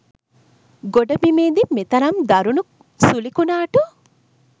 ගොඩබිමේදි මෙතරම් දරුණු සුළි කුණාටු